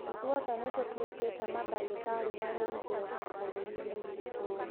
Ithuothe nĩ tũtuĩkĩte mandagĩtarĩ marĩ igweta bũrũriinĩ witũ